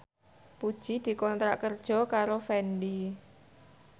Puji dikontrak kerja karo Fendi